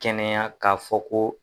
Kɛnɛya k'a fɔ ko.